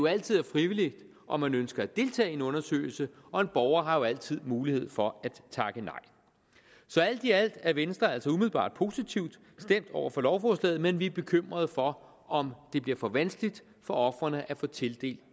altid er frivilligt om man ønsker at deltage i en undersøgelse og en borger har jo altid mulighed for at takke nej så alt i alt er venstre altså umiddelbart positivt stemt over for lovforslaget men vi er bekymrede for om det bliver for vanskeligt for ofrene at få tildelt